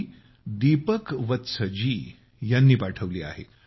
ही दीपक वत्स जी यांनी पाठवली आहे